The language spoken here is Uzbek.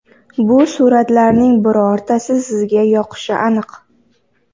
Bu suratlarning birortasi sizga yoqishi aniq.